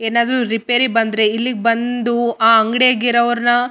ಏನಾದ್ರು ರಿಪೇರಿ ಬಂದ್ರೆ ಇಲ್ಲಿಗ್ ಬಂದು ಆ ಅಂಗಡಿ ಯಾಗ್ ಇರೋವ್ರನ್ನ.